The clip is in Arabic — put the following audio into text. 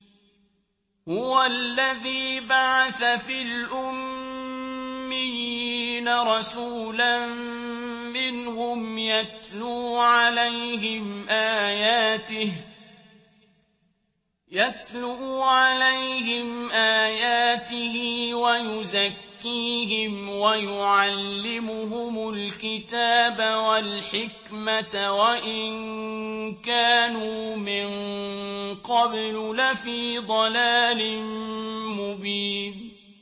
هُوَ الَّذِي بَعَثَ فِي الْأُمِّيِّينَ رَسُولًا مِّنْهُمْ يَتْلُو عَلَيْهِمْ آيَاتِهِ وَيُزَكِّيهِمْ وَيُعَلِّمُهُمُ الْكِتَابَ وَالْحِكْمَةَ وَإِن كَانُوا مِن قَبْلُ لَفِي ضَلَالٍ مُّبِينٍ